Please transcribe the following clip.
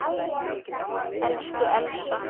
Elsku Elsa.